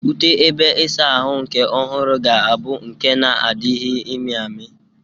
Ute ebe ịsa ahụ nke ọhụrụ ga-abụ nke na-adịghị amị amị.